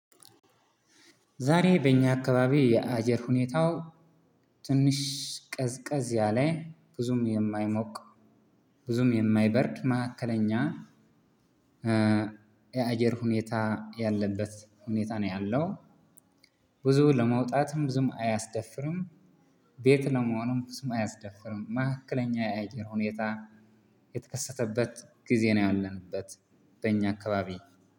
ዛሬ በእኛ አካባቢ የአየር ሁኔታው ትንሽ ቀዝቀዝ ያለ ብዙም የማይሞቅ ብዙም የማይበርድ መሀከለኛ የአየር ሁኔታ ያለበት ሁኔታ ነው ያለው። ብዙ ለመውጣትም ብዙ አያስደፍርም፤ ቤት ለመሆንም ብዙ አያስደፍርም መሀከለኛ የአየር ሁኔታ የተከሰተበት ጊዜ ነው ያለንበት። በኛ አካባቢ